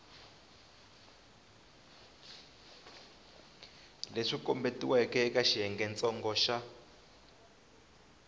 leswi kombetiweke eka xiyengentsongo xa